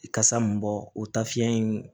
Kasa mun bɔ o ta fiɲɛ in